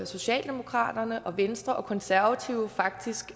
socialdemokraterne venstre og konservative faktisk